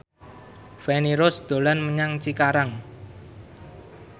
Feni Rose dolan menyang Cikarang